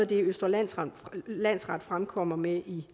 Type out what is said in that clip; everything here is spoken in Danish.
det østre landsret landsret fremkommer med i